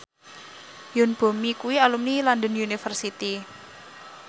Yoon Bomi kuwi alumni London University